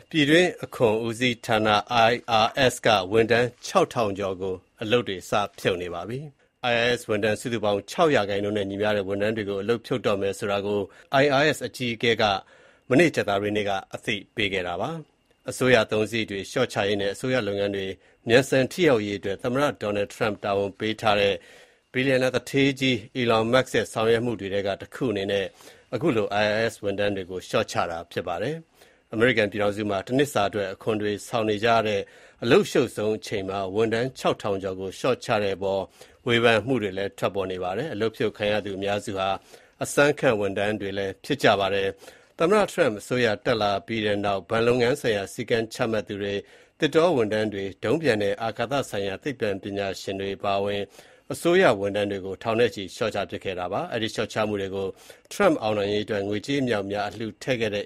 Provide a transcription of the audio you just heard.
ပြည်တွင်းအခွန်ဦးစီးဌာန IRS က ဝန်ထမ်း (၆,၀၀၀) ကျော်ကို စပြီး အလုပ်ဖြုတ်နေပါပြီ။ IRS ဝန်ထမ်းစုစုပေါင်းရဲ့ ၆% နဲ့ညီမျှတဲ့ ဝန်ထမ်းတွေကို အလုပ်ဖြုတ်တော့မယ်ဆိုတာကို IRS အကြီးအကဲက ကြာသပတေးနေ့က အသိပေးခဲ့တာပါ။ အစိုးရအသုံးစရိတ်တွေလျှော့ချရေးနဲ့ အစိုးရလုပ်ငန်းတွေ မြန်ဆန်ထိရောက်ရေးအတွက် သမ္မတ Trump တာဝန်ပေးထားတဲ့ ဘီလျံသူဌေး Elon Musk ရဲ့ ဆောင်ရွက်မှုတွေထဲက တခုအနေနဲ့ IRS ဝန်ထမ်းတွေကို လျှော့ချတာဖြစ်ပါတယ်။ အမေရိကန်ပြည်ထောင်စုမှာ တနှစ်စာအတွက် အခွန်ဆောင် နေကြရတဲ့ အလုပ်အရှုပ်ဆုံးအချိန်မှာ ဝန်ထမ်း (၆,၀၀၀) ကျော်ကို လျှော့ချတဲ့အပေါ် ဝေဖန်မှုတွေ လည်း ထွက်ပေါ်နေပါတယ်။ အလုပ်ဖြုတ်ခံရသူအများစုဟာ အစမ်းခန့်ဝန်ထမ်းတွေ ဖြစ်ကြပါတယ်။ သမ္မတ Trump အစိုးရတက်လာခဲ့ပြီးနောက် ဘဏ်လုပ်ငန်းဆိုင်ရာ စည်းကမ်းချမှတ်သူတွေ၊ သစ်တော ဝန်ထမ်းတွေ၊ ဒုံးပျံနဲ့ အာကာသဆိုင်ရာသိပ္ပံပညာရှင်တွေအပါအဝင် အစိုးရဝန်ထမ်းထောင်နဲ့ချီကို လျှော့ချပစ်ခဲ့ပါတယ်။ အဲဒီလျှော့ချမှုတွေကို Trump အောင်နိုင်ရေးအတွက် ငွေကြေးအမြောက်အများ အလှူထည့်ခဲ့တဲ့